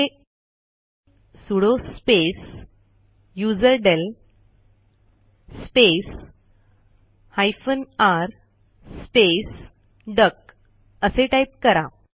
इथे sudo space userdel space hyphen r space duck असे type करा